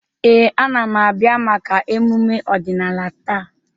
Ee, a na m abịa maka emume ọdịnala taa.